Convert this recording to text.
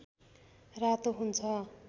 रातो हुन्छ